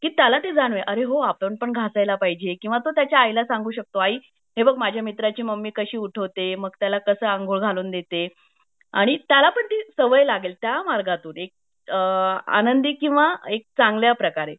की त्याला ते जाणवेल अरे होआपण पण तोंड घसेल पाहिजे किंवा तो त्याचा आई ला सांगू शकतो आई हे बघ माझ्या मित्राची मम्मी काशी उठवते मग त्याला कसं आंघोळ घालून देते आणि त्याला पण ती सवय लागेल आणि त्या मार्गातून एक आनंदी किंवा एक चांगल्या प्रकारे